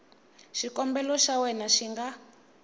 xikombelo xa wena xi nga